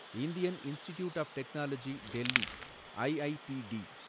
Indian institute of technology Delhi , IITD